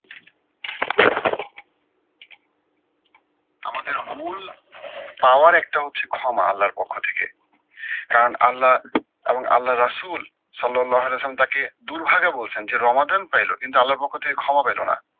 আমাদের মূল power একটা হচ্ছে ক্ষমা আল্লার পক্ষ থেকে। কারণ আল্লা এবং আল্লা রসূল সলল্লাহ রসূল তাকে দুর্ভাগ্যে বলছেন যে রমাদান পাইলো কিন্তু আল্লার পক্ষ থেকে ক্ষমা পাইলো না।